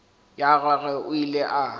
ya gagwe o ile a